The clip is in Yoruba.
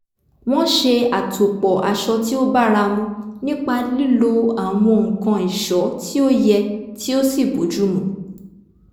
wọ́n ṣe àtòpò̩ aṣọ tí ó báramu nípa lílo àwọn nǹkan è̩só̩ tí ó ye̩ tí ó sì bójúmu